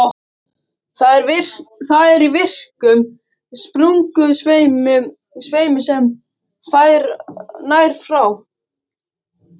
Það er í virkum sprungusveimi sem nær frá